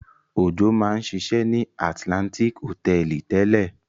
Òjó máa ń ṣiṣẹ́ ní Atlantic Hòtẹ́ẹ́lì tẹ́lẹ̀.